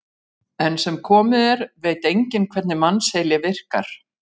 Enn sem komið er veit enginn hvernig mannsheili virkar.